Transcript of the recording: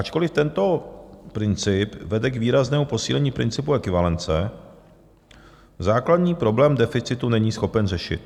Ačkoliv tento princip vede k výraznému posílení principu ekvivalence, základní problém deficitu není schopen řešit.